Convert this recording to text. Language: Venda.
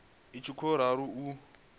i tshi khou ralo u